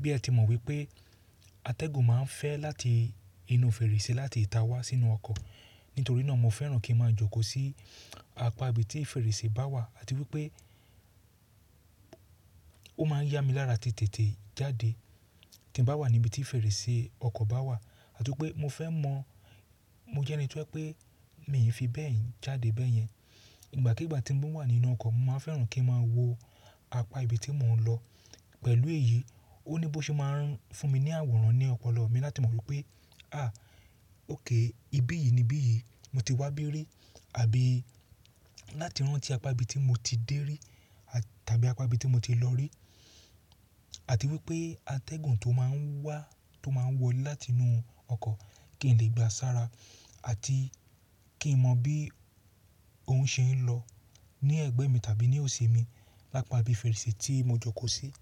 Bí a ti mọ̀ wípé atẹ́gùn máa ń fẹ́ láti inú fèrèsé láti ìta wá sínú ọkọ̀. Nítorí náà mo fẹ́ràn kí ń máa jókòó sí apá ibi tí fèrèsé bá wà àti wípé ó máa ń yá mi lára tètè jáde. Kí bá wà ní ibi tí fèrèsé ọkọ̀ bá wà àti wípé mo fẹ́ mọ̀, mo jẹ́ ẹni tó pé mi ò fi bẹ́ẹ̀ jáde bẹ́ẹ̀ yẹn. Ìgbà kigbà tí mò ń wà nínú ọkọ̀, mo máa ń fẹ́ràn kí ń máa wo apá ibi tí mò ń lọ. Pẹ̀lú èyí, ó ní bó ṣe máa ń fún mi ní àwòrán ní ọpọlọ mi láti mọ̀ wípé, à óké ibí yìí ni bí yìí mo ti wá bí rí àbí láti rán tí apá ibi tí mo ti dé rí tàbí apá ibi tí mo ti lọ rí. Àti wípé atẹ́gùn tó máa ń wá, tó máa ń wọlé láti inú ọkọ̀ kí n lè gba sára àti kí n mọ̀ bí ó ń ṣe ń lọ ní ẹ̀gbẹ́ mi tàbí ní òsì mi lápá ibi fèrèsé tí mo jókòó sí.